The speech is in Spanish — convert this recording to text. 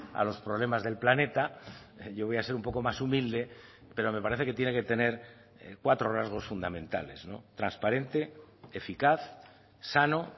a los problemas del planeta yo voy a ser un poco más humilde pero me parece que tiene que tener cuatro rasgos fundamentales transparente eficaz sano